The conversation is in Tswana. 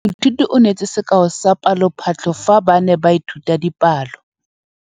Moithuti o neetse sekaô sa palophatlo fa ba ne ba ithuta dipalo.